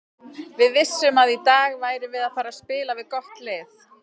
Við vissum að í dag værum við að fara spila við gott lið.